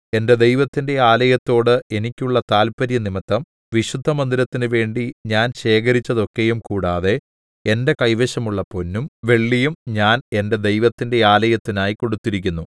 എന്റെ ദൈവത്തിന്റെ ആലയത്തോട് എനിക്കുള്ള താത്പര്യം നിമിത്തം വിശുദ്ധമന്ദിരത്തിനു വേണ്ടി ഞാൻ ശേഖരിച്ചതൊക്കെയും കൂടാതെ എന്റെ കൈവശമുള്ള പൊന്നും വെള്ളിയും ഞാൻ എന്റെ ദൈവത്തിന്റെ ആലയത്തിനായി കൊടുത്തിരിക്കുന്നു